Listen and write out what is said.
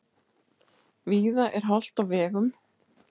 Víða er hált á vegum